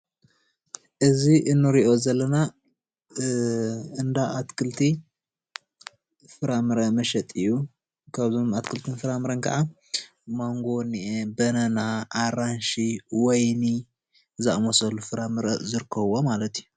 እዚ እንሪኦ ዘለና እንዳ ኣትክልቲ ፍራምረ መሸጢ እዩ፡፡ ካብዞም ኣትክልትን ፍራምረን ከኣ ማንጎ እኒኣ፣ በናና ፣ኣራንሺ ፣ወይኒ ዝኣምሰሉ ፍራመረ ዝርከብዎ ማለት እዩ፡፡